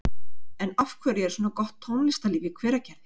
En af hverju er svona gott tónlistarlíf í Hveragerði?